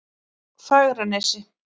Fagranesi